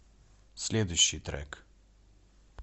следующий трек